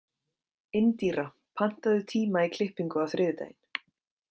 Indíra, pantaðu tíma í klippingu á þriðjudaginn.